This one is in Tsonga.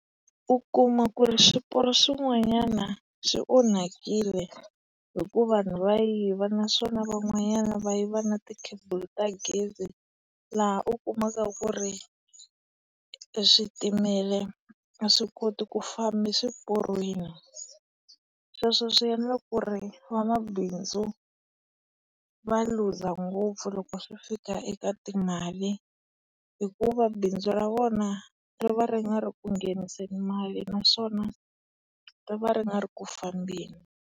U kuma ku ri swiporo swin'wanyana swi onhakile hi ku vanhu va yiva naswona van'wanyana va yiva na ti cable ta gezi, laha u kumaka ku ri switimela a swi koti ku famba swiporweni. Sweswo swi endle ku ri vamabindzu va luza ngopfu loko swi fika eka timali hikuva bindzu ra vona ri va ri nga ri ku ngheniseni mali naswona ri va ri nga ri ku fambeni.